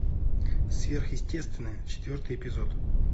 сверхъестественное четвертый эпизод